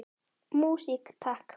Músík, takk!